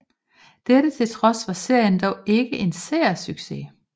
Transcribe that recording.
Dette til trods var serien dog ikke en seersucces